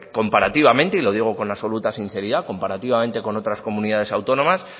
comparativamente y lo digo con absoluta sinceridad con otras comunidades autónomas